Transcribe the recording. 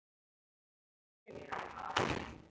Umhverfis hverinn hefur myndast breiða af hverahrúðri.